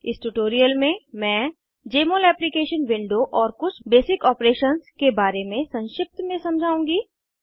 इस ट्यूटोरियल में मैं जमोल एप्लीकेशन विंडो और कुछ बेसिक ऑपरेशंस के बारे में संक्षिप्त में समझाउंगी